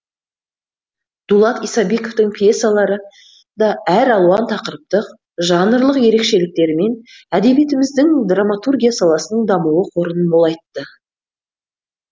дулат исабековтің пьесалары да әралуан тақырыптық жанрлық ерекшеліктерімен әдебиетіміздің драматургия саласының дамуы қорын молайтты